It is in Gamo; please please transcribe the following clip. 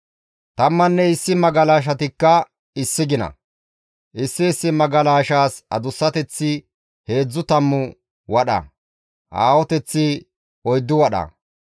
Tammanne issi magalashatikka issi gina; issi issi magalashaas adussateththi heedzdzu tammu wadha, aahoteththi oyddu wadha.